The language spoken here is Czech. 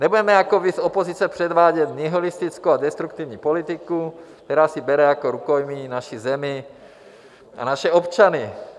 Nebudeme jako vy z opozice předvádět nihilistickou a destruktivní politiku, která si bere jako rukojmí naši zemi a naše občany.